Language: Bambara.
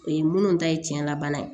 O ye minnu ta ye tiɲɛnna bana ye